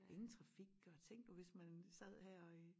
Ingen trafik og tænk nu hvis man sad her i